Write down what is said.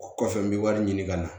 O kɔfɛ n bɛ wari ɲini ka na